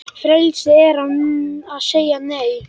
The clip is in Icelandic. Frelsi er að segja Nei!